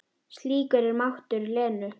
Slíkur er máttur Lenu.